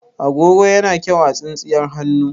Agogo yana kyau a tsintsiyar hannu.